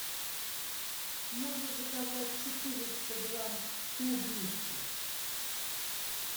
можно заказать четыреста грамм клубники